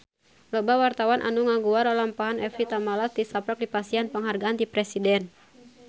Loba wartawan anu ngaguar lalampahan Evie Tamala tisaprak dipasihan panghargaan ti Presiden